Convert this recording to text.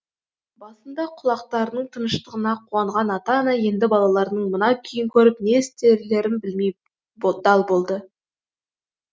басында құлақтарының тыншығанына қуанған ата ана енді балаларының мына күйін көріп не істерлерін білмей дал болды